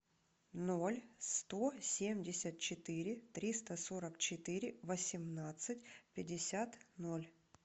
ноль сто семьдесят четыре триста сорок четыре восемнадцать пятьдесят ноль